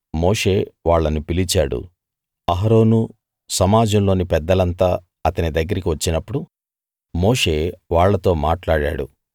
మోషే వాళ్ళను పిలిచాడు అహరోను సమాజంలోని పెద్దలంతా అతని దగ్గరికి వచ్చినప్పుడు మోషే వాళ్ళతో మాట్లాడాడు